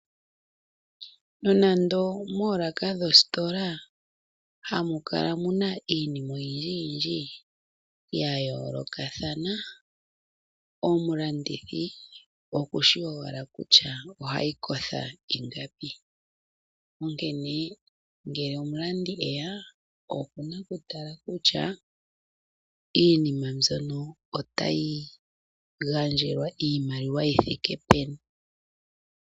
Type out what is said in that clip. Nonando moolaka dhoositola hamu kala mu na iinima oyindjiyindji ya yoolokathana, omulandithi okushi owala kutya ohayi kotha ingapi. Onkene ngele omulandi e ya okuna okutala kutya iinima mbyono otayi gandjelwa iimaliwa yi thike peni.